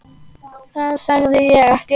Það sagði ég ekki